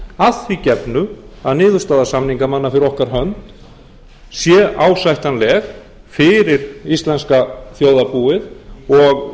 að því gefnu að niðurstaða samningamanna fyrir okkar hönd sé ásættanleg fyrir íslenska þjóðarbúið og